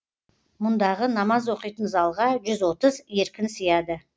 мұндағы намаз оқитын залға жүз отыз еркін сияды